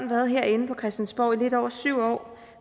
været herinde på christiansborg i lidt over syv år